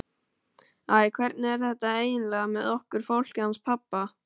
Æ, hvernig er þetta eiginlega með okkur fólkið hans pabba?